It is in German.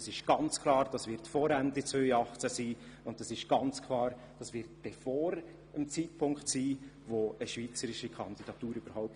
Das wird ganz klar vor Ende 2018 sein, und ebenso klar wird das vor dem Einreichen einer Schweizer Kandidatur stattfinden.